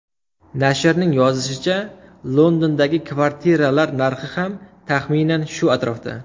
Nashrning yozishicha, Londondagi kvartiralar narxi ham, taxminan, shu atrofda.